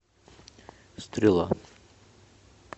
стрела